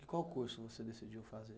E qual curso que você decidiu fazer?